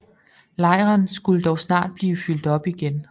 Lejren skulle dog snart blive fyldt op igen